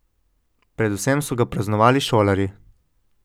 Predvsem so ga praznovali šolarji.